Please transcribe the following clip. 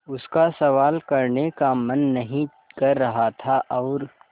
उसका सवाल करने का मन नहीं कर रहा था और